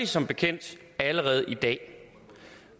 som bekendt allerede i dag